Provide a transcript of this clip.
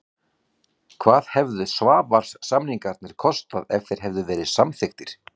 Hvað hefðu Svavars-samningarnir kostað ef þeir hefðu verið samþykktir?